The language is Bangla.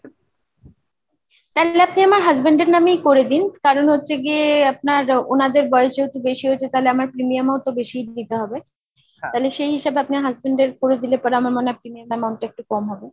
আপনি আমার Husband এর নামেই করে দিন, কারণ হচ্ছে গিয়ে আপনার ওনাদের বয়সে যেহেতু বেশি হয়েছে তাহলে আমার premium ও তো বেশি দিতে হবে। আচ্ছা, তাহলে সেই হিসেবে আপনি Husband এর করে দিলে পরে আমার মনে হয় আপনি main premium amountটা একটু কম হবে।